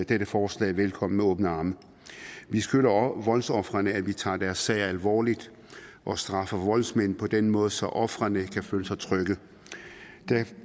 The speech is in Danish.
dette forslag velkommen med åbne arme vi skylder voldsofrene at vi tager deres sag alvorligt og straffer voldsmænd på den måde så ofrene kan føle sig trygge